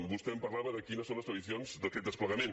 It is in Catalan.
vostè em parlava de quines són les previsions d’aquest desplegament